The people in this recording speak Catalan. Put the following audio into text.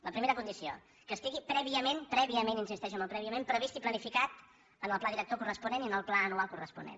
la primera condició que estigui prèviament prèviament insisteixo en el prèviament previst i planificat en el pla director corresponent i en el pla anual corresponent